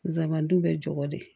Zamɛ bɛ jɔ de